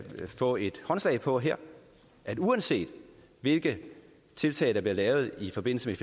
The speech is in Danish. få et håndslag på her at uanset hvilke tiltag der bliver lavet i forbindelse